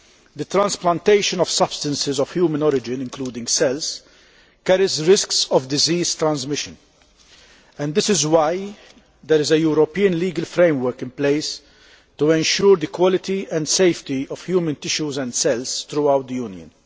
The transplantation of substances of human origin, including cells, carries risks of disease transmission and that is why there is a European legal framework in place to ensure the quality and safety of human tissues and cells throughout the Union.